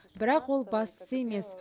бірақ ол бастысы емес